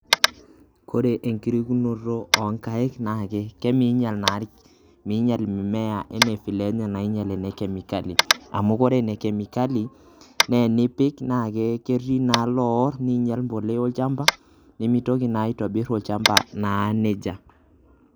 Kore enkurokinoto onkaik naake kemeinyal naa, meinyal mimea enaa  vile nainyal ene kemikali, amu ore enekemikali neenipik naaketii naa loorr neinyal  mpolea olchamba nemeitoki naa aitobirr olchamba naa neija.